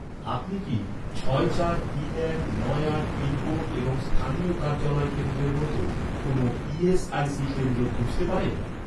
আপনি কি, ছয় চার তিন এক নয় আট পিনকোড এবং স্থানীয় কার্যালয় কেন্দ্রের মতো, কোনও ই.এস.আই.সি কেন্দ্র খুঁজতে পারেন?